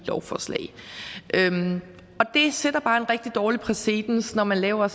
lovforslag det sætter bare en rigtig dårlig præcedens når man laver